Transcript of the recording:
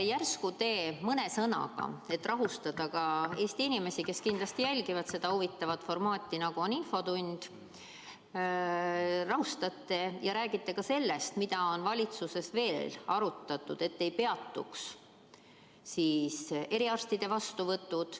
Järsku te mõne sõnaga – et rahustada Eesti inimesi, kes kindlasti jälgivad seda huvitavat formaati, nagu infotund on – räägite ka sellest, mida on valitsuses veel plaanitud teha, ei peatuks eriarstide vastuvõtud.